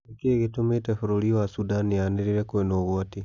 Nĩ kĩĩ gĩtũmĩte bũrũri wa Sudan yaanĩrĩre kwina ũgwati?